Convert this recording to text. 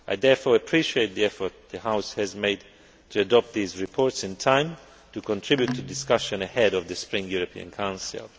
I therefore appreciate the effort the House has made to adopt these reports in time to contribute to the discussion ahead of the spring European Council.